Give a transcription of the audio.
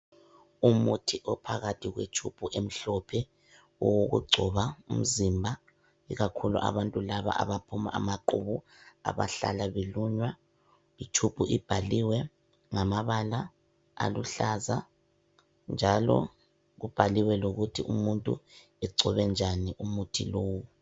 Umuthi ophakathi kwetshubhu emhlophe. Owokugcoba umzimba ikakhulu abantu laba abaphuma amaqhubu, abahlala belunywa. Itshubhu ibhaliwe ngamabala aluhlaza, njalo kubhaliwe lokuthi umuntu egcobe njani umuthi lowu.